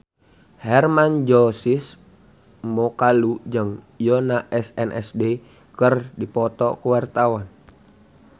Hermann Josis Mokalu jeung Yoona SNSD keur dipoto ku wartawan